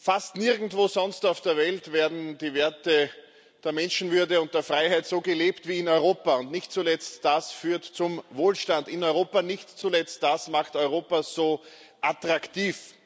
Fast nirgendwo sonst auf der Welt werden die Werte der Menschenwürde und der Freiheit so gelebt wie in Europa, und nicht zuletzt das führt zum Wohlstand in Europa, nicht zuletzt das macht Europa so attraktiv.